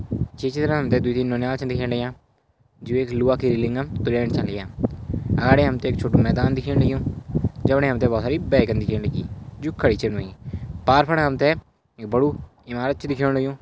ये चित्र मा हमते दुइ-तीन नौनियाल छन दिखेण लाग्यां जो एक लुआ के रेलिंगम ब्रैंड च लिया अगाडी हमते एक छोटू मैदान दिखेण लग्युं जमणे हमते बहौत सारी बाइकें दिखेण लगीं जु खड़ी छन हुईं पार फण हमते एक बडु ईमारत च दिखेण लग्युं।